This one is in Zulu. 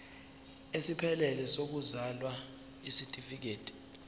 esiphelele sokuzalwa isitifikedi